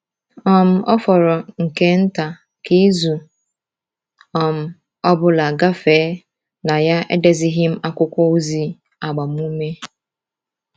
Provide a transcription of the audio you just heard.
um Ọ fọrọ nke nta ka izu um ọ bụla gafee na ya edezighị m akwụkwọ ozi agbamume.